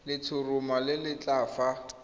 letshoroma le le setlha fa